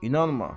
İnanma.